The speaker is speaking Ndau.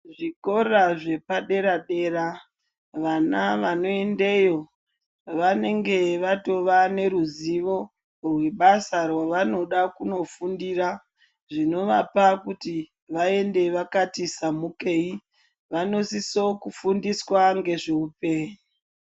Zvikora zvepadera-dera vana vanoendeyo vanenge vatove neruzivo rwebasa rwevanoda kunofundira zvinovape kuti vaende vakatisamukei. Vanosisokufundiswa ngezveupenyu.